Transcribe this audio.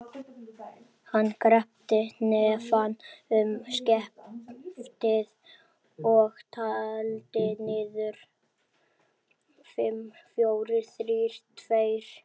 Hann kreppti hnefann um skeftið og taldi niður: fimm, fjórir, þrír, tveir.